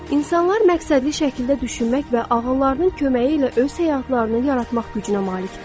İnsanlar məqsədli şəkildə düşünmək və ağıllarının köməyi ilə öz həyatlarını yaratmaq gücünə malikdir.